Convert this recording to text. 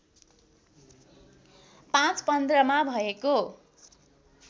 ५ १५ मा भएको